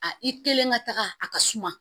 A i kelen ka taga a ka suma